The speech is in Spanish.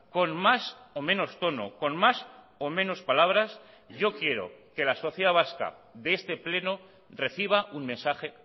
con más o menos tono con más o menos palabras yo quiero que la sociedad vasca de este pleno reciba un mensaje